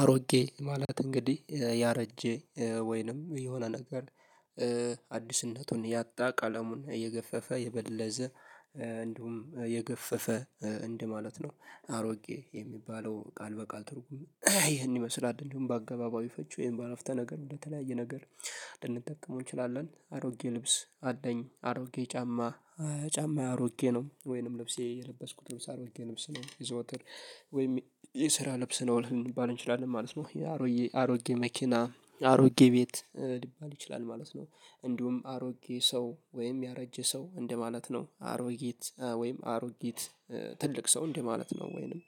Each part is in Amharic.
አሮጌ ማለት እንግዲህ ያረጀ ወይንም የሆነ ነገር አዲስነቱን ያጣ ቃለሙን እየገፈፈ የበለዘ እንዲሁም የገፈፈ እንደማለት ነው። አሮጌ የሚባለው ቃል በቃል ትርጉም ይሄን ይመስላል እንደውም በአገባባዊ ፈጁ ይሄን በአረፍተ ነገር በተለያየ ነገር ልንጠቀመው እንችላለን። አሮጌ ልብስ አለኝ አሮጌ ጫማ ጫማዬ አሮጌ ነው ወይንም ልብሴ የለበስኩት ልብስ አሮጌ ልብስ ነው የዘውትር ወይም የስራ ልብስ ነው ልባል እንችላለን ማለት ነው። ይሄ አሮጌ አሮጌ መኪና አሮጌ ቤት ሊባል ይችላል ማለት ነው። እንዲሁም አሮጌ ሰው ወይም ያረጀ ሰው እንደማለት ነው። አሮጌት ወይም አሮጊት ትልቅ ሰው እንዴ ማለት ነው። ወይንም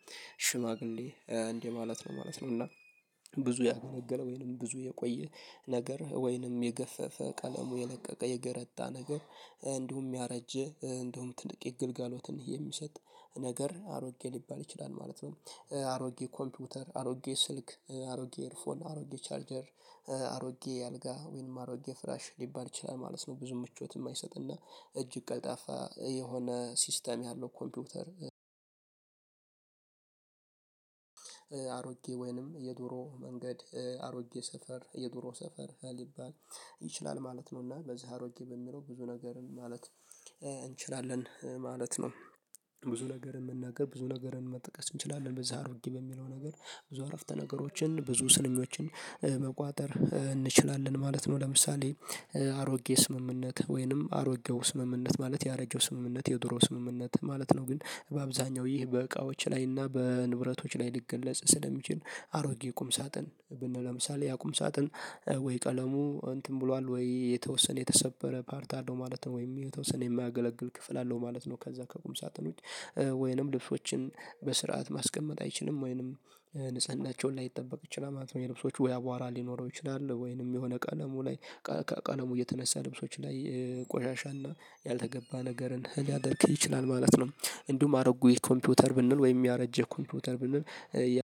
ሽማግሌ እንዴ ማለት ነው ማለት ነው። እና ብዙ ያገለገለው ወይንም ብዙ የቆየ ነገር ወይንም የገፈፈ ቀለሙ የለቀቀ የገረጣ ነገር እንዲሁ የሚያረጀ እንዲሁ ጥንቅቅ ግልጋሎትን የሚሰጥ ነገር አሮጌ ሊባል ይችላል ማለት ነው። አሮጌ ኮምፒውተር አሮጌ ስልክ አሮጌ ኤርፎን አሮጌ ቻርጀር አሮጌ አልጋ ወይንም አሮጌ ፍራሽ ሊባል ይችላል ማለት ነው። ብዙ ምቾት የማይሰጥና እጅግ ቀልጣፋ የሆነ ሲስተም ያለው ኮምፒውተር። አሮጌ ወይንም የዱሮ መንገድ አሮጌ ሰፈር የዱሮ ሰፈር ሊባል ይችላል ማለት እና በዚህ አሮጌ በሚለው ብዙ ነገር ማለት እንችላለን ማለት ነው። ብዙ ነገር የምንነግር ብዙ ነገርን መጥቀስ እንችላለን በዛ አድርጊ በሚለው ነገር ብዙ አረፍተ ነገሮችን ብዙ ስኞችን መቋጠር እንችላለን ማለት ነው። ለምሳሌ አሮጌ ስምምነት ወይንም አሮጌው ስምምነት ማለት ያረጀው ስምምነት የድሮ ስምምነት ማለት ነው። ግን በአብዛኛው ይህ በእቃዎች ላይ እና በንብረቶች ላይ ልገለጽ ስለሚችል አሮጌ ቁም ሳጥን ብንለምሳሌ ያ ቁም ሳጥን ወይ ቀለሙ እንትን ብሏል ወይ የተወሰነ የተሰበረ ፓርት አለው ማለት ነው። ወይም የተወሰነ የማያገለግል ክፍል አለው ማለት ነው። ከዛ ከቁም ሳጥኖች ወይንም ልብሶችን በስርዓት ማስቀመጥ አይችልም ወይንም ንጽህናቸውን ላይጠበቅ ይችላል ማለት ነው። የልብሶች ወይ አቧራ ሊኖረው ይችላል ወይንም የሆነ ቀለሙ ላይ ቃል ቃለሙ እየተነሳ ልብሶች ላይ ቆሻሻና ያልተገባ ነገርን ሊያደርግ ይችላል ማለት ነው። እንዲሁም አረጉኝ ኮምፒውተር ብንል ወይም ያረጀ ኮምፒዩተር ብንል አንድ አንድ አንድ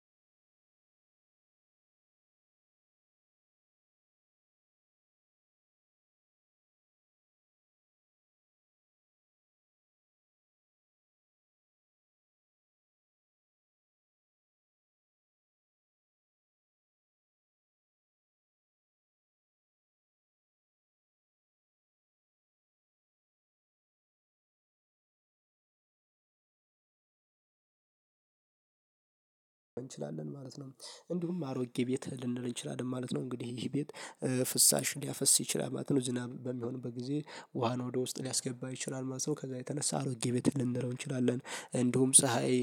እንችላለን ማለት ነው። እንዲሁም አሮጌ ቤት ልንል እንችላለን ማለት ነው። እንግዲህ ይሄ ቤት ፍሳሽ ሊያፈስ ይችላል ማለት ነው። ዝናብ በሚሆንበት ጊዜ ውሃን ወደ ውስጥ ሊያስገባ ይችላል ማለት ነው። ከዛ የተነሳ አሮጌ ቤት ልንለው እንችላለን። እንደሁም ፀሀይ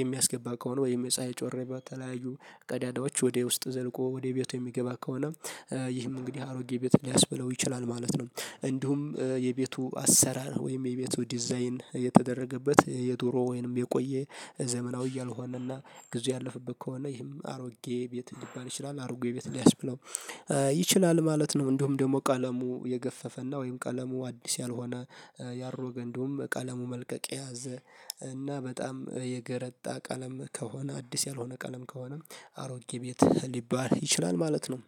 የሚያስገባ ከሆነ ወይም የፀሀይ ጮሬ ባተለያዩ ቀዳዳዎች ወደ ውስጥ ዘልቆ ወደ ቤቱ የሚገባ ከሆነ ይህም እንግዲህ አሮጌ ቤት ሊያስብለው ይችላል ማለት ነው። እንዲሁም የቤቱ አሰራር ወይም የቤቱ ዲዛይን የተደረገበት የዶሮ ወይንም የቆየ ዘመናዊ ያልሆነና ጊዜ ያለፈበት ከሆነ ይህም አሮጌ ቤት ሊባል ይችላል። አሮጌ የቤት ሊያስብለው ይችላል ማለት ነው። እንደውም ደግሞ ቀለሙ የገፈፈና ወይም ቀለሙ አዲስ ያልሆነ ያሮገ እንደሁም ቀለሙ መልቀቅ የያዘ እና በጣም የገረጣ ቀለም ከሆነ አዲስ ያልሆነ ቀለም ከሆነ አሮጌ ቤት ሊባል ይችላል ማለት ነው።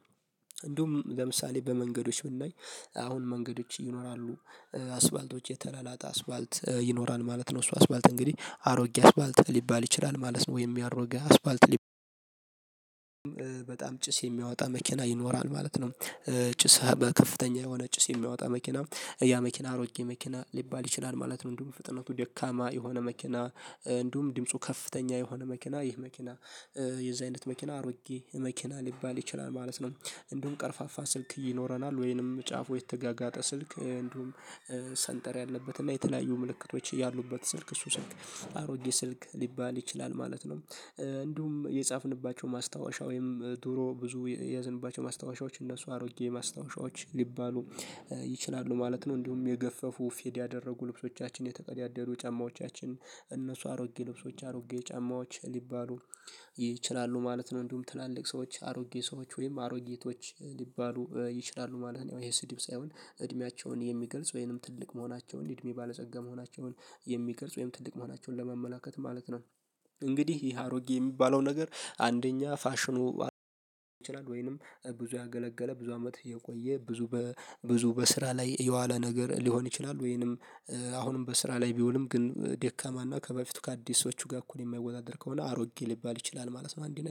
እንደሁም ለምሳሌ በመንገዶች ብናይ አሁን መንገዶች ይኖራሉ አስባልቶች የተላላቀ አስባልት ይኖራል ማለት ነው። እሱ አስባልት እንግዲህ አሮጌ አስፋልት ሊባል ይችላል ማለት ነው። ወይም ያሮገ አስፋልት በጣም ጭስ የሚያወጣ መኪና ይኖራል ማለት ነው። ጭስ በከፍተኛ የሆነ ጭስ የሚያወጣ መኪና ያ መኪና አሮጌ መኪና ሊባል ይችላል ማለት ነው። እንዲሁም በፍጥነቱ ደካማ የሆነ መኪና እንዲሁም ድምፁ ከፍተኛ የሆነ መኪና ይህ መኪና የዚህ አይነት መኪና አሮጌ መኪና ሊባል ይችላል ማለት ነው። እንዲሁም ቀርፋፋ ስልክ ይኖረናል ወይንም ጫፉ የተጋጋጠ ስልክ እንዲሁም ሰንጠር ያለበት እና የተለያዩ ምልክቶች ያሉበት ስልክ እሱ ስልክ አሮጌ ስልክ ሊባል ይችላል ማለት ነው። እንዲሁም የጻፍንባቸው ማስታወሻ ወይም ድሮ ብዙ የያዘንባቸው ማስታወሻዎች እነሱ አሮጌ ማስታወሻዎች ሊባሉ ይችላሉ ማለት ነው። እንዲሁም የገፈፉ ፌድ ያደረጉ ልብሶቻችን የተቀዳደሩ ጫማዎቻችን እነሱ አሮጌ ልብሶች አሮጌ ጫማዎች ሊባሉ ይችላሉ ማለት ነው። እንዲሁም ትላልቅ ሰዎች አሮጌ ሰዎች ወይም አሮጌቶች ሊባሉ ይችላሉ ማለት ነው። ይሄ ስዲብ ሳይሆን እድሜያቸውን የሚገልጽ ወይንም ትልቅ መሆናቸውን እድሜ ባለጸጋ መሆናቸውን የሚገልጽ ወይንም ትልቅ መሆናቸውን ለመመላከት ማለት ነው። እንግዲህ ይሄ አሮጌ የሚባለው ነገር አንደኛ ፋሽኑ ይችላል ወይንም ብዙ ያገለገለ ብዙ አመት የቆየ ብዙ በብዙ በስራ ላይ የዋለ ነገር ሊሆን ይችላል። ወይንም አሁንም በስራ ላይ ቢውልም ግን ደካማና ከበፊቱ ከአዲሶቹ ጋር እኮ ነው የማይወዳደር ከሆነ አሮጌ ሊባል ይችላል ማለት ነው። አንድ